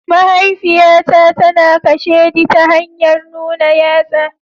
Mahaifiyata tana kasheɗi ta hanyar nuna yatsa.